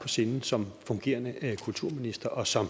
på sinde som fungerende kulturminister og som